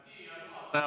Härra juhataja!